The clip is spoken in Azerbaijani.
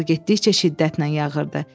Qar getdikcə şiddətlə yağırdı.